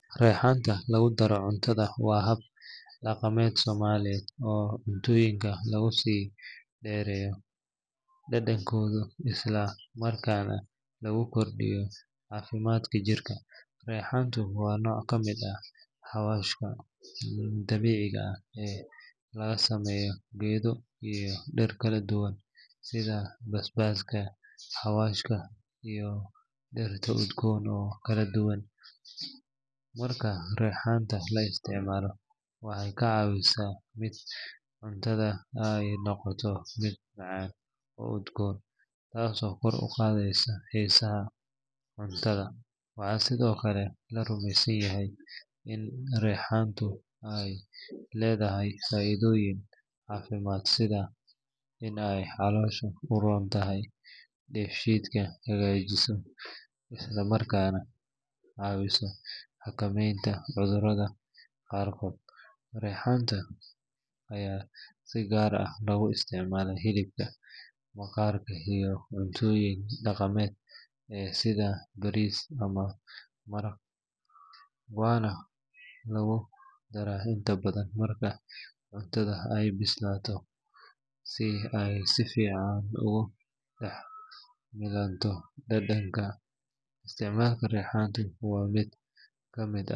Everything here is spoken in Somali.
Reexaanta lagu daro cuntada waa hab dhaqameed Soomaaliyeed oo cuntooyinka lagu sii dheereeyo dhadhankooda isla markaana lagu kordhiyo caafimaadka jirka. Reexaanta waa nooc ka mid ah xawaashka dabiiciga ah ee laga sameeyo geedo iyo dhir kala duwan sida basbaaska, xawaashka, iyo dhir udgoon oo kala duwan. Marka reexaanta la isticmaalo, waxay ka caawisaa in cuntada ay noqoto mid macaan oo udgoon, taasoo kor u qaadeysa xiisaha cuntada. Waxaa sidoo kale la rumeysan yahay in reexaanta ay leedahay faa’iidooyin caafimaad sida in ay caloosha u roon tahay, dheefshiidka hagaajiso, isla markaana caawiso xakameynta cudurrada qaarkood. Reexaanta ayaa si gaar ah looga isticmaalaa hilibka, maraqa, iyo cuntooyinka dhaqameed ee sida bariis ama maraq, waxaana lagu daraa inta badan marka cuntada ay bisilayso si ay si fiican ugu dhex milanto dhadhanka. Isticmaalka reexaanta waa mid ka mid ah.